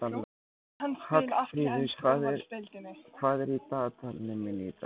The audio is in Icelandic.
Hallfríður, hvað er í dagatalinu mínu í dag?